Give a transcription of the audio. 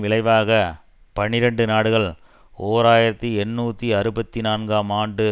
விளைவாக பனிரண்டு நாடுகள் ஓர் ஆயிரத்தி எண்ணூதி அறுபத்தி நான்காம் ஆண்டு